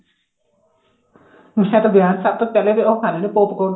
ਮੈਂ ਤਾਂ ਵਿਆਹ ਚ ਸਭ ਤੋਂ ਪਹਿਲਾਂ ਉਹ ਖਾਣੇ ਹਾਂ pop corn